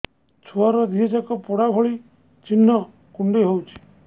ଛୁଆର ଦିହ ଯାକ ପୋଡା ଭଳି ଚି଼ହ୍ନ କୁଣ୍ଡେଇ ହଉଛି